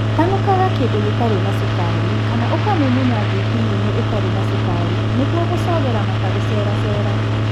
Tanukaga kĩndu gĩtarĩ na cukari kana ũkamumunya thwiti nyũmũ ĩtarĩ na cukari nĩguo gũcogera mata gũceracera